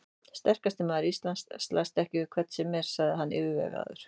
Sterkasti maður á Íslandi slæst ekki við hvern sem er, sagði hann yfirvegaður.